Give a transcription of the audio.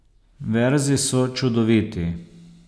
Verzi so čudoviti.